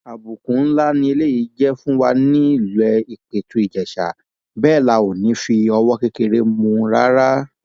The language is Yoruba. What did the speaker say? àbùkù ńlá ni eléyìí jẹ fún wa nílé ìpẹtù ìjèṣà bẹẹ la ò ní í fọwọ kékeré mú un rárá